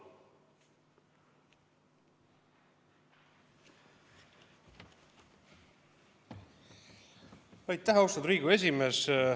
Aitäh, austatud Riigikogu esimees!